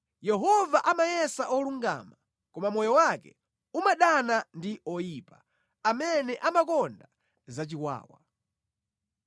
Yehova amayesa olungama, koma moyo wake umadana ndi oyipa, amene amakonda zachiwawa.